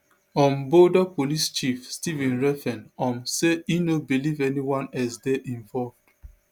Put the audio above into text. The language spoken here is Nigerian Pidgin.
um boulder police chief stephen redfearn um say e no believe anyone else dey involved